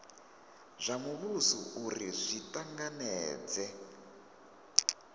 zwa muvhuso uri zwi tanganedze